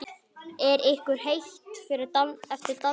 Er ykkur heitt eftir dansinn?